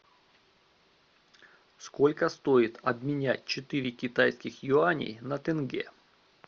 сколько стоит обменять четыре китайских юаней на тенге